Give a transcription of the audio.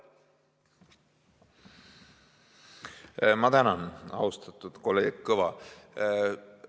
Ma tänan, austatud kolleeg Kõva!